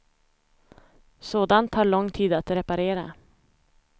Sådant tar lång tid att reparera.